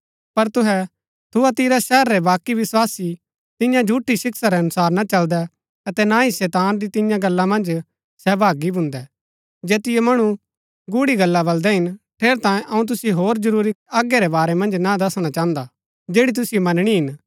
पर तुहै थुआतीरा शहर रै बाकी विस्वासी तिन्या झूठी शिक्षा रै अनुसार ना चलदै अतै ना ही शैतान री तिन्या गल्ला मन्ज सहभागी भून्दै जैतिओ मणु गूढ़ी गल्ला बलदै हिन ठेरैतांये अऊँ तुसिओ होर जरूरी आज्ञा रै बारै मन्ज ना दसणा चाहन्दा जैड़ी तुसिओ मनणी हिन